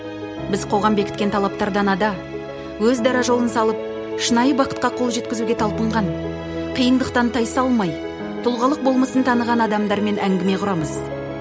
біз қоғам бекіткен талаптардан ада өз дара жолын салып шынайы бақытқа қол жеткізуге талпынған қиындықтан тайсалмай тұлғылық болмысын таныған адамдармен әңгіме құрамыз